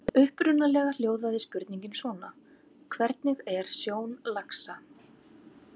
Upprunalega hljóðaði spurningin svona: Hvernig er sjón laxa?